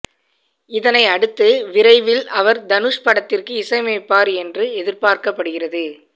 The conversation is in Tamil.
இதனை அடுத்து விரைவில் அவர் தனுஷ் படத்திற்கு இசையமைப்பார் என்று எதிர்பார்க்கப்படுகிறது